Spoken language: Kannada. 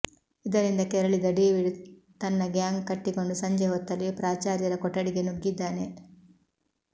ಇದರಿಂದ ಕೆರಳಿದ ಡೇವಿಡ್ ತನ್ನ ಗ್ಯಾಂಗ್ ಕಟ್ಟಿಕೊಂಡು ಸಂಜೆ ಹೊತ್ತಲ್ಲಿ ಪ್ರಾಚಾರ್ಯರ ಕೊಠಡಿಗೆ ನುಗ್ಗಿದ್ದಾನೆ